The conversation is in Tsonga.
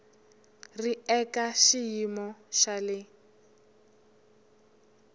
ri eka xiyimo xa le